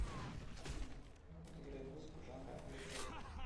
афина играй музыку жанра электроника